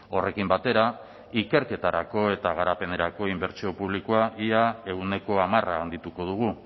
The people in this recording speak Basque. horrekin batera ikerketarako eta garapenerako inbertsio publikoa ia ehuneko hamar handituko dugu